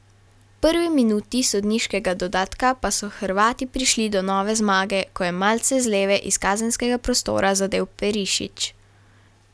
V prvi minuti sodniškega dodatka pa so Hrvati prišli do nove zmage, ko je malce z leve iz kazenskega prostora zadel Perišić.